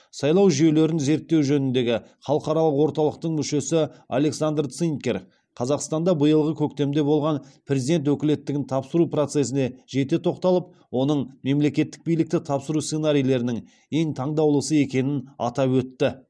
сайлау жүйелерін зерттеу жөніндегі халықаралық орталықтың мүшесі александр цинкер қазақстанда биылғы көктемде болған президент өкілеттігін тапсыру процесіне жете тоқталып оның мемлекеттік билікті тапсыру сценарийлерінің ең таңдаулысы екенін атап өтті